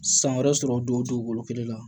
San wɛrɛ sɔrɔ don o dugukolo kelen na